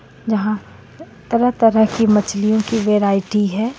यहाँ तरह तरह की मछलिओ की वेराइटी हे.